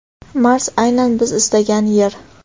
Mars aynan biz istagan yer.